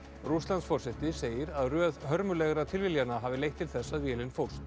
Rússlandsforseti segir að röð hörmulegra tilviljana hafi leitt til þess að vélin fórst